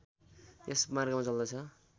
यस मार्गमा चल्दछ